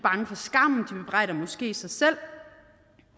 er måske sig selv